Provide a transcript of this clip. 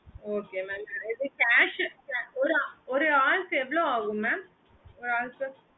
okay mam நெறைய பேரு cash ஒரு ஆளுக்கு எவ்ளோ ஆகும் mam